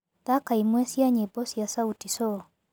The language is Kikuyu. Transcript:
thaka ĩmwe cĩa nyĩmbo cĩa sauti sol